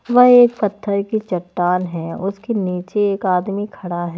वह एक पत्थर की चट्टान है उसके नीचे एक आदमी खड़ा है।